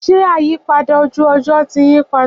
Ṣé àyípadà ojú ọjọ́ ti yí padà?